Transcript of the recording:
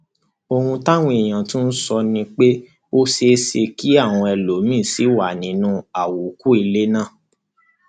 ohun táwọn èèyàn tún sọ ni pé ó ṣeé ṣe kí àwọn ẹlòmíín sì wà nínú àwókù ilé náà